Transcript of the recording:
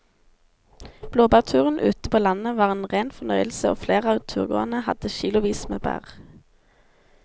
Blåbærturen ute på landet var en rein fornøyelse og flere av turgåerene hadde kilosvis med bær.